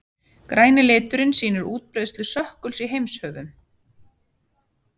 græni liturinn sýnir útbreiðslu stökkuls í heimshöfunum